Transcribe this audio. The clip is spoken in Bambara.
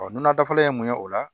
nɔnɔ dafalen ye mun ye o la